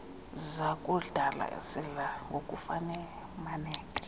zakudala sidla ngokufumaneka